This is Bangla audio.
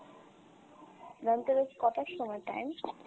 ধনতেরাস কটার সময় time?